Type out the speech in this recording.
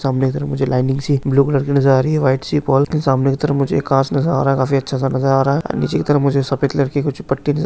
सामने की तरफ मुझे लायिंग सी एक ब्लू कलर की नजर आ रही है वाईट सी वाल के सामने की तरफ मुझे एक घास नजर आ रहा है काफी अच्छा सा नजर आ रहा है नीचे की तरफ मुझे सफ़ेद कलर की कुछ पट्टी नजर --